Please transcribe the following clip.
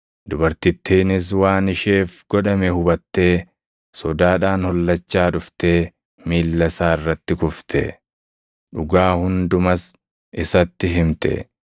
Dubartittiinis waan isheef godhame hubattee sodaadhaan hollachaa dhuftee miilla isaa irratti kufte; dhugaa hundumas isatti himte.